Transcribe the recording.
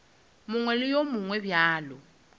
mongwe le wo mongwe bjalo